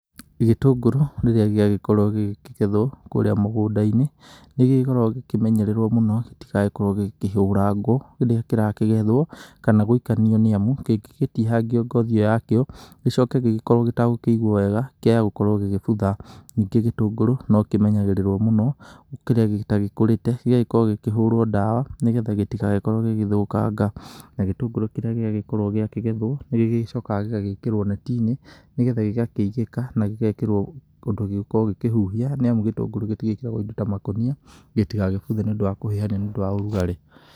Gĩtũngũrũ rĩrĩa gĩagĩkorwo gĩgĩkĩgethwo kũrĩa mũgũnda-inĩ, nĩ gĩkoragwo gĩkĩmenyererwo mũno gĩtigakorwo gĩkĩhũrangwo rĩrĩa kĩrakĩgetho kana gũikanio nĩ amu kĩngĩgĩtinagio ngothi ĩyo yakĩo, gĩcoke gĩkorwo gĩtagũkĩigwa wega, kĩaya gũkorwo gĩgĩbutha. Ningĩ gĩtũngũrũ no kĩmenyagĩrĩrwo mũno kĩrĩa gĩtagĩkũrĩte gĩgakorwo gĩkĩhũrwo dawa nĩgetha gĩtigagĩkorwo gĩgĩthũkanga, na gĩtũngũrũ kĩria gĩagĩkorwo gĩkĩgethwo nĩ gĩcokaga gĩgagĩkĩrwo neti-inĩ nĩgetha gĩgakĩigĩka kana gĩgekĩrwo ũndũ gĩgũkorwo gĩkĩhuhia nĩ amu gĩtũngũrũ gĩtigĩkĩragwo indo ta makũnia, gĩtigagĩbuthe nĩũndũ wa kũhĩhania nĩ ũndũ ta ũrugarĩ.